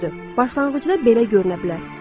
Düzdür, başlanğıcda belə görünə bilər.